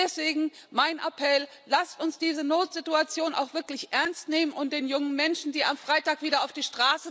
Deswegen mein Appell Lasst uns diese Notsituation auch wirklich ernstnehmen und den jungen Menschen, die am Freitag wieder auf die